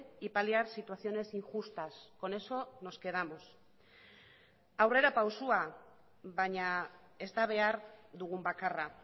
y paliar situaciones injustas con eso nos quedamos aurrerapausoa baina ez da behar dugun bakarra